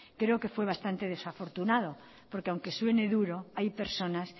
creo que fue bastante desafortunado porque aunque suene duro hay personas